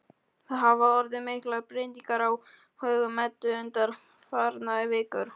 Það hafa orðið miklar breytingar á högum Eddu undanfarnar vikur.